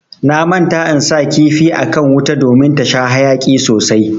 Na manta in sa kifi akan wuta ɗomin ta sha hayaki sosai.